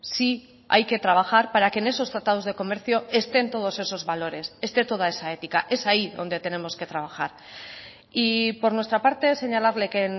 sí hay que trabajar para que en esos tratados de comercio estén todos esos valores esté toda esa ética es ahí donde tenemos que trabajar y por nuestra parte señalarle que